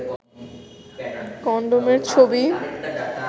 condom এর ছবি